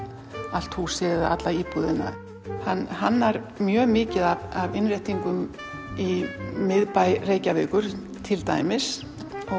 allt húsið eða íbúðina hann hannar mjög mikið af innréttingum í miðbæ Reykjavíkur til dæmis